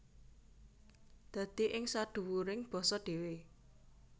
Dadi ing sadhuwuring basa dhéwé